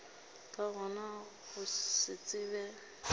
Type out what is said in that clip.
ka gona go se tsebe